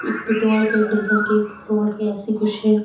Petrol के diesel के floor के ऐसे कुछ है।